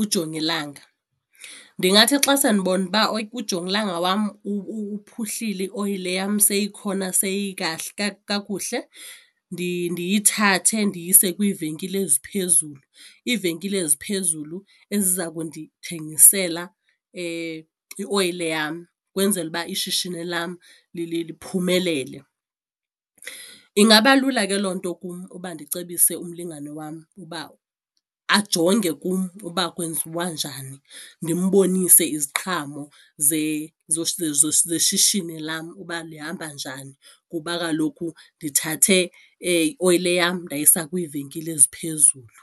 ujongilanga. Ndingathi xa sendibona uba ujongilanga wam uphuhlile ioyile yam seyikhona kakuhle ndiyithathe ndiyise kwiivenkile eziphezulu, iivenkile eziphezulu eziza kundithengisela ioyile yam ukwenzela uba ishishini lam liphumelele. Ingaba lula ke loo nto kum uba ndicebise umlingane wam uba ajonge kum uba kwenziwa njani ndimbonise iziqhamo zeshishini lam uba lihamba njani kuba kaloku ndithathe ioyile yam ndayisa kwiivenkile eziphezulu.